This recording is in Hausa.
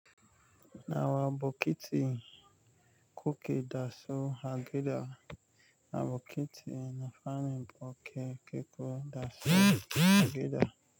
Nawa bokiti kukeda su a gida? Na bokiti na farin bokeke keda su a gida.